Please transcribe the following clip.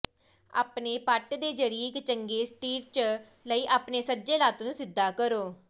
ਆਪਣੇ ਪੱਟ ਦੇ ਜ਼ਰੀਏ ਇੱਕ ਚੰਗੇ ਸਟੀਰਟਚ ਲਈ ਆਪਣੇ ਸੱਜੇ ਲੱਤ ਨੂੰ ਸਿੱਧਾ ਕਰੋ